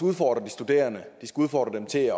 udfordre de studerende de skal udfordre dem til